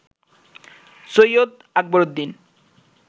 Syed Akbaruddin